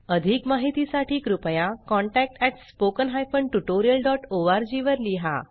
अधिक माहितीसाठी कृपया contact at spoken hyphen tutorial dot ORG वर लिहा